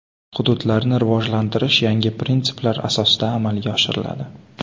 Hududlarni rivojlantirish yangi prinsiplar asosida amalga oshiriladi.